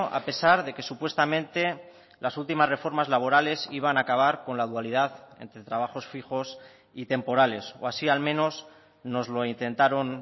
a pesar de que supuestamente las últimas reformas laborales iban a acabar con la dualidad entre trabajos fijos y temporales o así al menos nos lo intentaron